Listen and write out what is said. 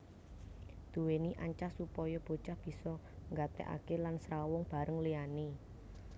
Duweni ancas supaya bocah bisa nggatekake lan srawung bareng liyane